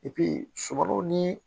sɔkalaw ni